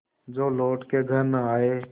जो लौट के घर न आये